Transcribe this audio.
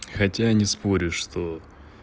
хотя не спорю что